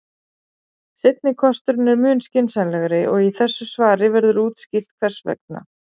Seinni kosturinn er mun skynsamlegri og í þessu svari verður útskýrt hvers vegna.